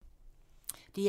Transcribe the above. DR1